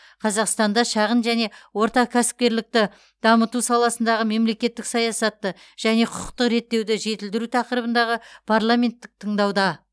қазақстанда шағын және орта кәсіпкерлікті дамыту саласындағы мемлекеттік саясатты және құқықтық реттеуді жетілдіру тақырыбындағы парламенттік тыңдауда